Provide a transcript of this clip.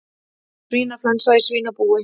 Svínaflensa í svínabúi